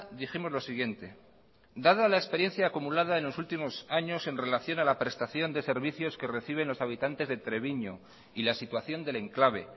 dijimos lo siguiente dada la experiencia acumulada en los últimos años en relación a la prestación de servicios que reciben los habitantes de treviño y la situación del enclave